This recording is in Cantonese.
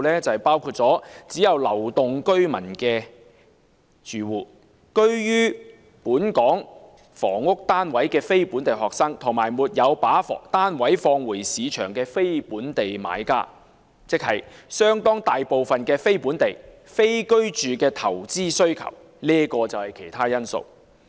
就是包括"只有流動居民的住戶"、"居於本港房屋單位的非本地學生"，以及"沒有把單位放回市場的非本地買家"，即相當大部分是非本地、非居住的投資需求。